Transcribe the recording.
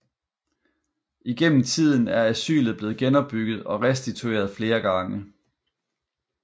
Igennem tiden er asylet blevet genopbygget og restitueret flere gange